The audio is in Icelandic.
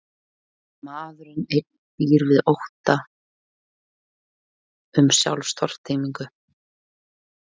Maðurinn einn býr við ótta um sjálfstortímingu.